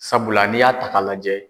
Sabula n'i y'a ta k'a lajɛ